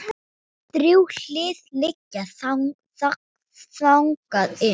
Þrjú hlið liggja þangað inn.